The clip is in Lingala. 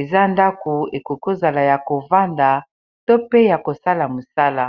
eza ndako ekoko ozala ya kovanda to pe ya kosala mosala.